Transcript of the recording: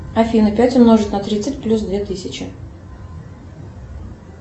афина пять умножить на тридцать плюс две тысячи